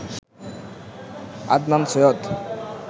Adnan Syed